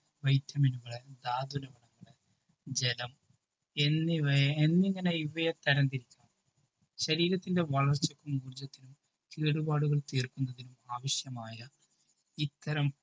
vitamin കള് ജലം എന്നിവയെ ഇന്നിങ്ങനെ ഇവയെ തരം തിരിച്ചാണ് ശരീരത്തിൻ്റെ വളർച്ചക്കും ഊർജത്തിനും കേടുപാടുകൾ തീർക്കുന്നതിനും ആവിശ്യമായ ഇത്തരം